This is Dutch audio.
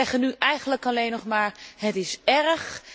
Wij zeggen nu eigenlijk alleen nog maar het is erg.